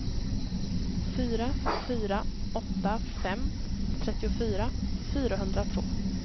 fyra fyra åtta fem trettiofyra fyrahundratvå